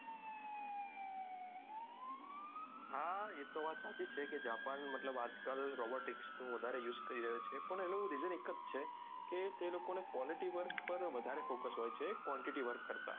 આ એ તો સાચી જ છે કે જાપાન મતલબ આજ કાલ robotics નું વધારે use કરી રહ્યું છે પણ એનું reason એક જ છે કે તે લોકો ને quality work પર વધારે focus હોય છે quantity work કરતા